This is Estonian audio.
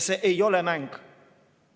See ei ole mäng.